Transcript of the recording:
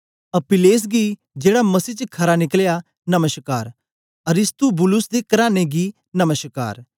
अपिल्लेस गी जेड़ा मसीह च खरा निकलया नमश्कार अरिस्तुबुलुस दे कराने गी नमश्कार